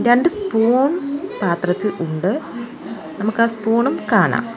രണ്ട് സ്പൂൺ പാത്രത്തിൽ ഉണ്ട് നമുക്ക് ആ സ്പൂണും കാണാം.